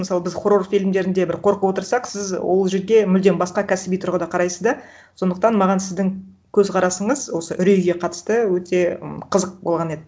мысалы біз хоррор фильмдерінде бір қорқып отырсақ сіз ол жерге мүлдем басқа кәсіби тұрғыда қарайсыз да сондықтан маған сіздің көзқарасыңыз осы үрейге қатысты өте қызық м болған еді